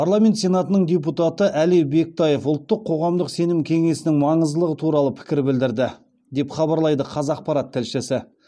парламент сенатының депутаты әли бектаев ұлттық қоғамдық сенім кеңесінің маңыздылығы туралы пікір білдірді деп хабарлайды қазақпарат тілшісі